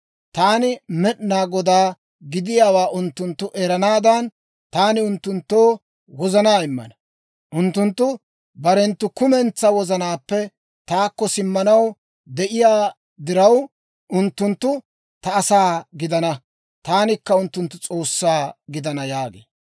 Taani Med'inaa Godaa gidiyaawaa unttunttu eranaadan, taani unttunttoo wozanaa immana. Unttunttu barenttu kumentsaa wozanaappe taakko simmanaw de'iyaa diraw, unttunttu ta asaa gidana; taanikka unttunttu S'oossaa gidana› yaagee.